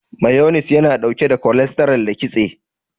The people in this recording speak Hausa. Mayones yana ɗauke da kolestaral da kitse.